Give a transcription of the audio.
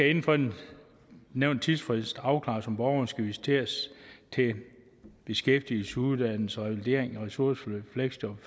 inden for den nævnte tidsfrist afklares om borgeren skal visiteres til beskæftigelse uddannelse revalidering ressourceforløb fleksjob